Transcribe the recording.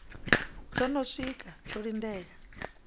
tsho no siwka tsho lindela